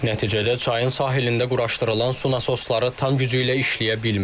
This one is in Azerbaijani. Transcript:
Nəticədə çayın sahilində quraşdırılan su nasosları tam gücü ilə işləyə bilmir.